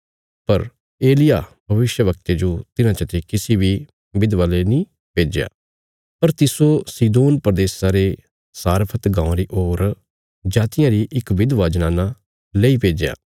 पर एलिय्याह भविष्यवक्ते जो तिन्हां चते किसी बी विधवा ले नीं भेज्या पर तिस्सो सीदोन प्रदेशा रे सारफ़त गाँवां री होर जातिया री इक विधवा जनाना लेई भेज्या